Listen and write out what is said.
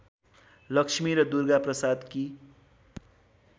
लक्ष्मी र दुर्गाप्रसादकी